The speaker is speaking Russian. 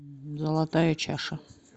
золотая чаша